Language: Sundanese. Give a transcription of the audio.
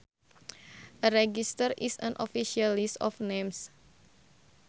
A register is an official list of names